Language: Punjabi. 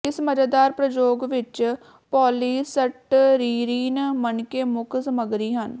ਇਸ ਮਜ਼ੇਦਾਰ ਪ੍ਰਯੋਗ ਵਿੱਚ ਪੌਲੀਸਟਰੀਰੀਨ ਮਣਕੇ ਮੁੱਖ ਸਾਮੱਗਰੀ ਹਨ